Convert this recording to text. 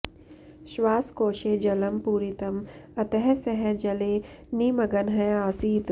श्वासकोशे जलं पूरितम् अतः सः जले निमग्नः आसीत्